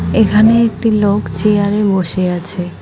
এখানে একটি লোক চেয়ারে বসে আছে।